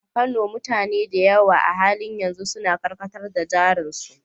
A Kano, mutane da yawa a halin yanzu suna karkatar da jarin su.